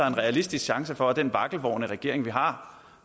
en realistisk chance for at den vakkelvorne regering vi har